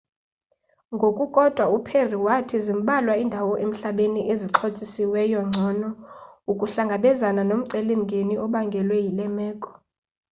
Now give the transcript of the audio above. ngokukodwa uperry wathi zimbalwa iindawo emhlabeni ezixhotyiswe ngcono ukuhlangabezana nomceli mngeni obangelwe yile meko